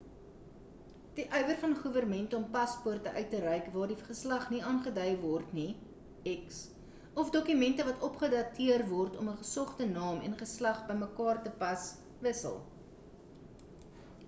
die ywer van goewermente om paspoorte uit te reik waar die geslag nie aangedui word x of dokumente wat opgedateer word om ‘n gesogte naam en geslag bymekaar te pas wissel